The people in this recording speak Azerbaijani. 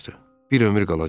Bir ömür qalacaqdı.